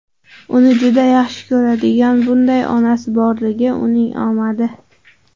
Uni juda yaxshi ko‘radigan bunday onasi borligiuning omadi!